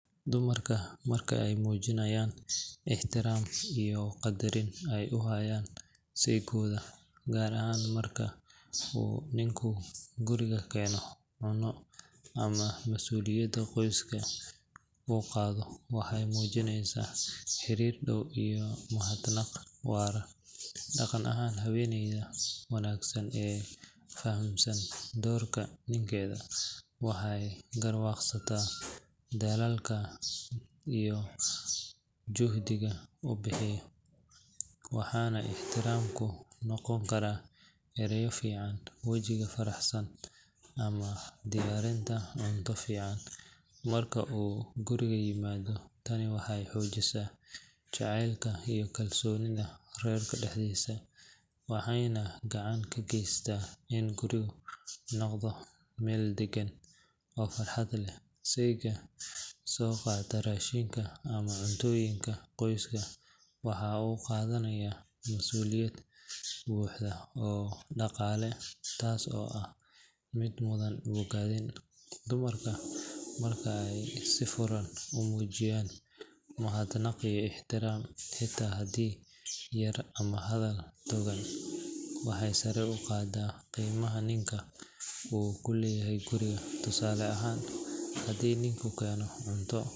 Dumarku marka ay muujinayaan ixtiraam iyo qadarin ay u hayaan saygooda, gaar ahaan marka uu ninku guriga keeno cunno ama mas'uuliyadda qoyska uu qaado, waxay muujinayaan xiriir dhow iyo mahadnaq waara. Dhaqan ahaan, haweeneyda wanaagsan ee fahamsan doorka ninkeeda waxay garwaaqsataa dadaalka iyo juhdiga uu bixiyo, waxaana ixtiraamku noqon karaa ereyo fiican, wejiga faraxsan, ama diyaarinta cunto fiican marka uu guriga yimaado. Tani waxay xoojisaa jacaylka iyo kalsoonida reerka dhexdiisa, waxayna gacan ka geysataa in gurigu noqdo meel daggan oo farxad leh. Sayga soo qaata raashinka ama cuntooyinka qoyska waxa uu qaadanayaa masuuliyad buuxda oo dhaqaale taasoo ah mid mudan bogaadin. Dumarka marka ay si furan u muujiyaan mahadnaq iyo ixtiraam, xitaa hadiyad yar ama hadal togan, waxay sare u qaadaysaa qiimaha ninka uu ku leeyahay guriga. Tusaale ahaan, haddii ninku keeno cunto.